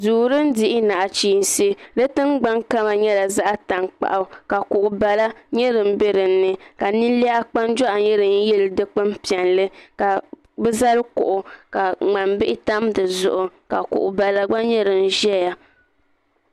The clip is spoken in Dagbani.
duu din dihi nachiinsi di tingbani kama nyɛla zaɣ tankpaɣu ka kuɣu bala nyɛ din bɛ dinni ka ninliha kpanjoɣu nyɛ din yili dikpuni piɛlli ka bi zali kuɣu ka ŋmani bihi tam dizuɣu ka kuɣu bala gba nyɛ din ʒɛya